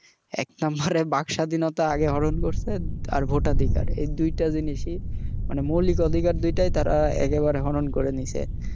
এক number বাক স্বাধীনতা হরন করছে আর vote ধিকার এই দুইটা জিনিসেই মানে মৌলিক অধিকার দুইটাই একেবারে হরন করে নিচে